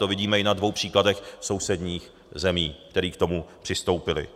To vidíme i na dvou příkladech sousedních zemí, které k tomu přistoupily.